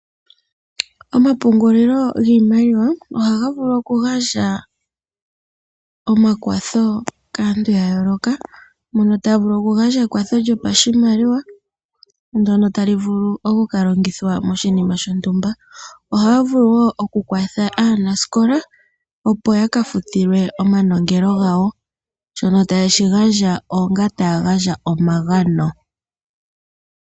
Omapungulilo giimaliwa ohaga vulu okugandja omakwatho kaantu yooloka. Mono taya vulu okugandja ekwatho lyopashimaliwa ndono tali vulu okuka longithwa moshinima shontumba. Ohaya vulu wo okukwatha aanasikola opo yaka futilwe oosikola dhawo shono taye shi gandja onga omagano.